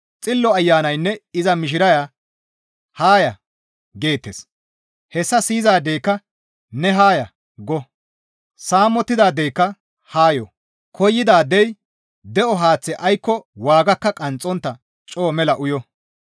Xillo Ayanaynne iza mishiraya, «Haa ya!» geettes; hessa siyizaadeyka, «Ne haa ya!» go. Saamettidaadeyka haa yo; koyidaadey de7o haaththe aykko waagakka qanxxontta coo mela uyo.